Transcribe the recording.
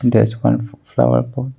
There is one flower pot.